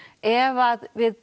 ef að við